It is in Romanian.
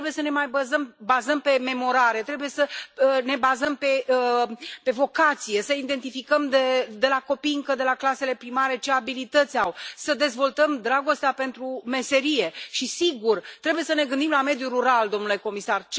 Nu trebuie să ne mai bazăm pe memorare, trebuie să ne bazăm pe vocație, să identificăm încă din clasele primare ce abilități au copiii, să dezvoltăm dragostea pentru meserie și, sigur, trebuie să ne gândim la mediul rural, domnule comisar.